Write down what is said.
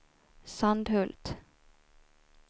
Sandhult